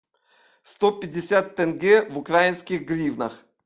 сто пятьдесят тенге в украинских гривнах